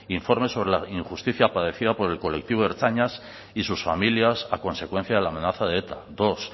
informe sobre la injusticia padecida por el colectivo de ertzainas y sus familias a consecuencia de la amenaza de eta dos